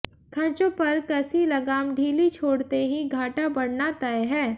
खर्चों पर कसी लगाम ढीली छोड़ते ही घाटा बढऩा तय है